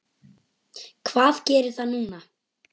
Um þá fiðlu fjallar sagan.